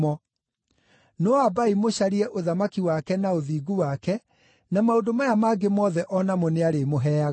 No ambai mũcarie ũthamaki wake na ũthingu wake, na maũndũ maya mangĩ mothe o namo nĩarĩmũheaga.